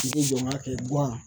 I k'i jɔ n k'a kɛ gan